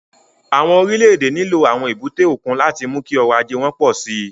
Àwọn orílẹ̀-èdè nílò àwọn èbúté òkun láti mú kí ọrọ̀ ajé wọn pọ̀ sí i.